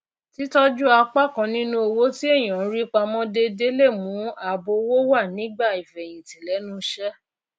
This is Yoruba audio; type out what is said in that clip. títọjú apá kan ninu owó tí ènìyàn ń rí pamó déédéé le mú ààbò owó wá nígbà ìfèyìntì lenú isẹ